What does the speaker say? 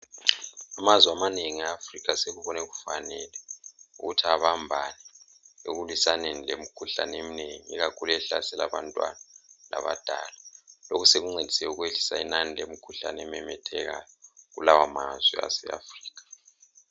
Amazwe amanengi e Africa sekubone kufanele ukuthi abambane ekulwisaneni lemikhuhlaneni eminengi ikakhulu ehlasela abantwana labadala. Lokhu sokuncedise ukwehlisa inani lemkhuhlane ememethekayo kulawo mazwe ase Africa